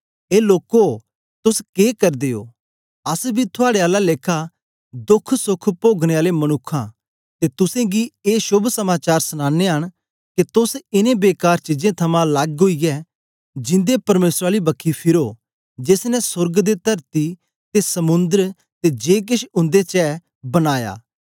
ए लोको तोस के करदे ओ अस बी थुआड़े आला लेखा दोखसोख पोगने आले मनुक्ख आं ते तुसेंगी ए शोभ समाचार सनानयां न के तोस इनें बेकार चीजां थमां लग्ग ओईयै जिंदे परमेसर आली बखी फिरो जेस ने सोर्ग ते तरती ते समुंद्र ते जे केछ उंदे च ऐ बनाया